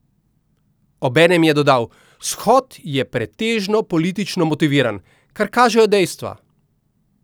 Obenem je dodal: 'Shod je pretežno politično motiviran, kar kažejo dejstva.